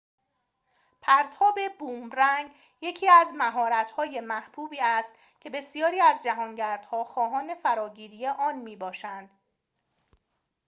پرتاب بومرنگ یکی از مهارت‌های محبوبی است که بسیاری از جهانگردها خواهان فراگیری آن می‌باشند